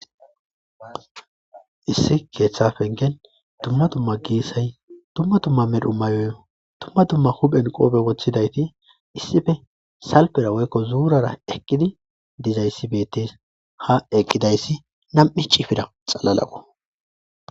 Issi keeththa fengen tumma tumma giissay tumma tumma medhu mayoy tumma tumma huphen qoobe woththidayti issife salpera woykko zuurara eqqidi dizayssi bettes ha eqqidayssi nam'i cifida xalalaqo